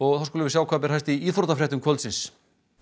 þá skulum við sjá hvað ber hæst í íþróttafréttum kvöldsins